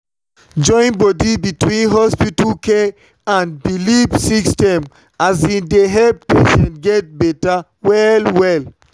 join body between hospital care and belief system um dey help patients get better well-well.